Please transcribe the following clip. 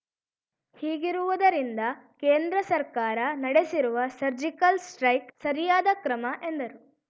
ಹೀಗಿರುವುದರಿಂದ ಕೇಂದ್ರ ಸರ್ಕಾರ ನಡೆಸಿರುವ ಸರ್ಜಿಕಲ್‌ ಸ್ಟ್ರೈಕ್ ಸರಿಯಾದ ಕ್ರಮ ಎಂದರು